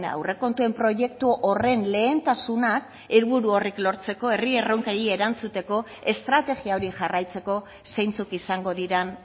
aurrekontuen proiektu horren lehentasunak helburu horrek lortzeko herri erronkei erantzuteko estrategia hori jarraitzeko zeintzuk izango diren